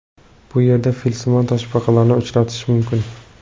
Bu yerda filsimon toshbaqalarni uchratish mumkin.